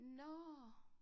Nåh